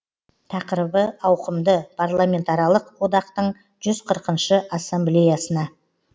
тақырыбы ауқымды парламентаралық одақтың жүз қырқыншы ассамблеясына